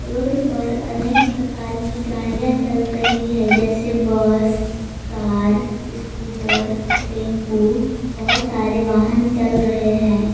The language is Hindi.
रोड पर अनेक प्रकार की गाड़ियां चल रही है जैसे बस कार स्कूटर टेंपो बहुत सारे वाहन चल रहे हैं।